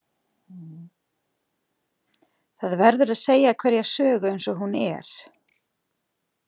Það verður að segja hverja sögu eins og hún er.